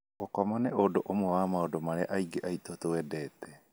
Gũkoma nĩ ũndũ ũmwe wa maũndũ marĩa aingĩ aitũ twendete.